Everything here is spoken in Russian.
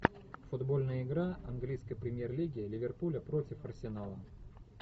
футбольная игра английской премьер лиги ливерпуля против арсенала